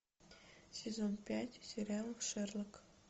сезон пять сериал шерлок